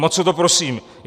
Moc o to prosím.